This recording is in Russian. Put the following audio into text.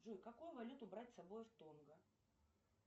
джой какую валюту брать с собой в тонго